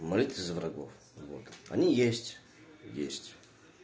молитесь за врагов вот они есть есть